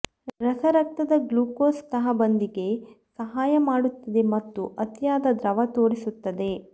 ರಸ ರಕ್ತದ ಗ್ಲೂಕೋಸ್ ತಹಬಂದಿಗೆ ಸಹಾಯ ಮಾಡುತ್ತದೆ ಮತ್ತು ಅತಿಯಾದ ದ್ರವ ತೋರಿಸುತ್ತದೆ